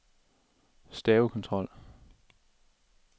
stavekontrol